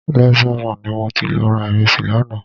Leisure Mall ni mo ti lọ ra ìrẹsì lánàá